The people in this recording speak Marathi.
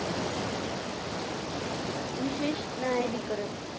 विशेष न्यायाधिकरण.